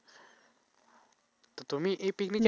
তো তুমি এই picnic